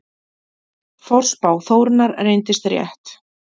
Forspá Þórunnar reyndist rétt.